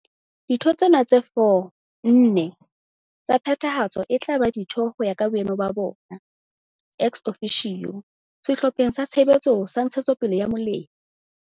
Ditho tsena tse 4, nne, tsa Phethahatso e tla ba ditho ho ya ka boemo ba bona, ex officio, Sehlopheng sa Tshebetso sa ntshetsopele ya molemi.